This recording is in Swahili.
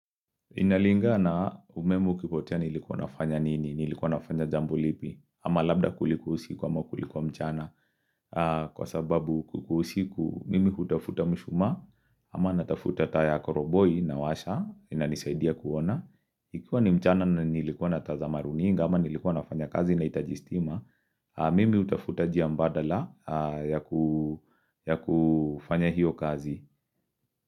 Inalinga na umeme ukipotea nilikuwa nafanya nini, nilikuwa nafanya jambo lipi, ama labda kulikuwa usiku ama kulikuwa mchana, kwa sababu kukiwa usiku mimi hutafuta mshumaa, ama natafuta taa ya koroboi nawasha, inanisaidia kuona. Ikiwa ni mchana na nilikuwa na tazama runinga ama nilikuwa nafanya kazi inahitaji stima, mimi hutafuta njia mbadala ya kufanya hiyo kazi.